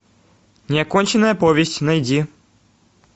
неоконченная повесть найди